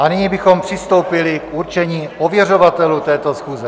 A nyní bychom přistoupili k určení ověřovatelů této schůze.